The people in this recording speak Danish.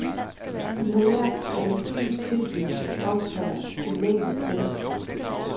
De har lært, at en films tilblivelse omfatter en mængde mennesker.